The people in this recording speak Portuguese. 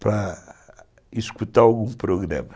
para escutar algum programa.